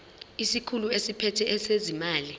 isikhulu esiphethe ezezimali